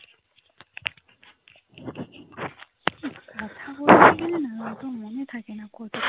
আমার তো মনে থাকে না কতক্ষণ